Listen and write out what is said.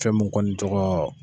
Fɛn mun kɔni tɔgɔ.